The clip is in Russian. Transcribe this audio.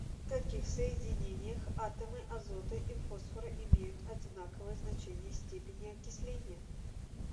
в каких соединениях атомы азота и фосфора имеют одинаковое значение степени окисления